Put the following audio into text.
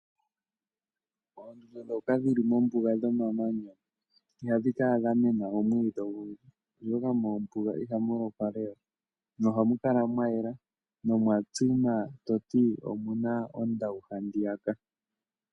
Oondundu ndhoka dhili mombuga dhomamanya Ihadhi kala dhamena omwiidhi ogundji oshoka mombuga ihamu lokwa Lela ,nohamu kala mwa yela nomwa tsima toti omuna ondawu handiyaka.